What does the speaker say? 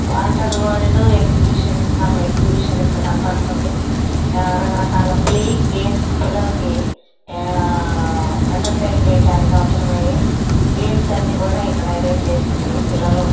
Water world exhibition . Some exhibition ఇక్కడ కనపడతుంది. ఆ రక రకాల ప్లేయింగ్ గేమ్స్ పిల్లలకి ఆ ఎంటర్టైన్ చేయటానికి అవసరమయ్యే గేమ్స్ అన్ని కూడా ఇక్కడ ఎరంజ్ చేసి ఉన్నాయ్. పిల్లలు--